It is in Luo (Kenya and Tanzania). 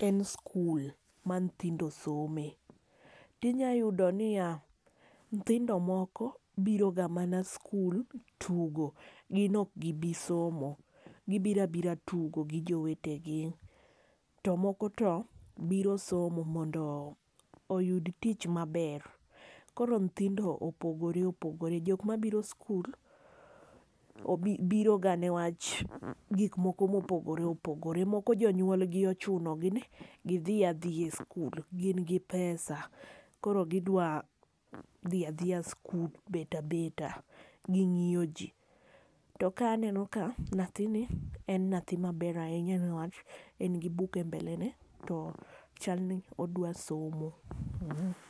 en skul, ma nyithindo some. To inyalo yudo niya nyithindo moko biro ga mana skul tugo, gin ok gibi somo. Gibiro abira tugo gi jowete gi. To moko to biro somo, mondo oyud tich maber. Koro nyithindo opogore opogore. Jok mabiro skul, biro ga newach gik moko ma opogore opogore. Moko jonyuol gi ochuno gi ni gidhi adhiya e skul. Gin gi pesa. Koro gidwa dhi adhiya skul bet abeta, gi ng'iyo ji. To ka aneno ka nyathini en nyathi maber ahinya ne wach, en gi buk e mbele ne, to chalni odwa somo.